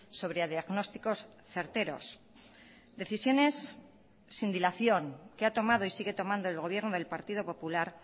sobre diagnósticos certeros decisiones sin dilación que ha tomado y sigue tomando el gobierno del partido popular